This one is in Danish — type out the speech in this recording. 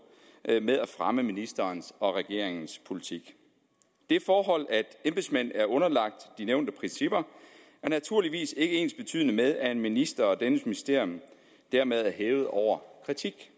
med at fremme ministerens og regeringens politik det forhold at embedsmænd er underlagt de nævnte principper er naturligvis ikke ensbetydende med at en minister og dennes ministerium dermed er hævet over kritik